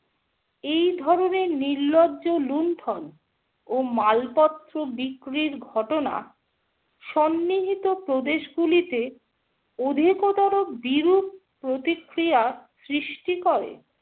এই ধরনের নির্লজ্জ লুণ্ঠন ও মালপত্র বিক্রির ঘটনা সন্নিহিত প্রদেশগুলোতে অধিকতর বিরূপ প্রতিক্রিয়া সৃষ্টি করে ।